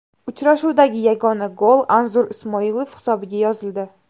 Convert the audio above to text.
Uchrashuvdagi yagona gol Anzur Ismoilov hisobiga yozildi.